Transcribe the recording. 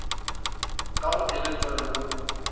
ka go elelwa le go